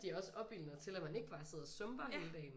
De også opildner til at man ikke bare sidder og sumper hele dagen